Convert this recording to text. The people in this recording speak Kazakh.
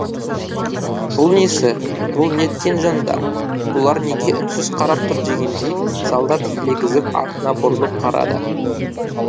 бұл несі бұл неткен жандар бұлар неге үнсіз қарап тұр дегендей солдат елегізіп артына бұрылып қарады